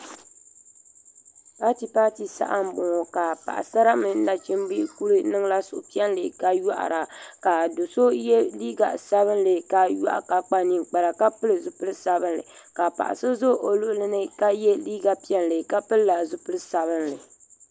Paati paati saha m boŋɔ ka Paɣasara mini nachimba lee niŋla suhupiɛlli ka yohara ka do'so ye liiga sabinli ka yohi ka kpa ninkpara ka pili zipili sabinli ka paɣa so za o luɣuli ka ye liiga piɛlli ka pilila zipil'sabinli.